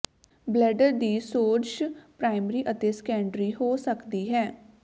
bladder ਦੀ ਸੋਜਸ਼ primary ਅਤੇ ਸੈਕੰਡਰੀ ਹੋ ਸਕਦੀ ਹੈ